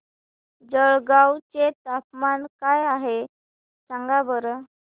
जळगाव चे तापमान काय आहे सांगा बरं